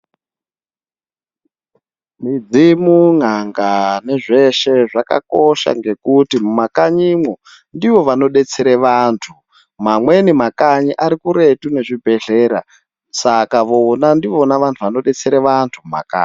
Midzimu, n'anga nezveshe zvakakosha nekuti mumakanyimwo ndivo vanodetsere vantu. Mamweni makanyi ari kuretu nezvibhehlera saka vona ndivona vantu vanodetsera vantu mumakanyi.